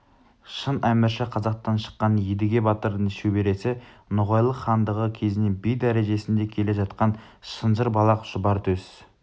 шын әмірші қазақтан шыққан едіге батырдың шөбересі ноғайлы хандығы кезінен би дәрежесінде келе жатқан шынжыр балақ шұбар төс